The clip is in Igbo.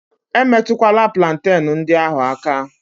E metụkwala plantenu ndị ahụ aka!